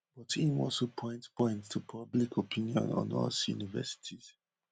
but im also point point to public opinion on us universities